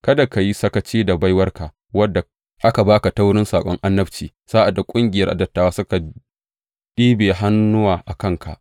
Kada ka yi sakaci da baiwarka, wadda aka ba ka ta wurin saƙon annabci sa’ad da ƙungiyar dattawa suka ɗibiya hannuwa a kanka.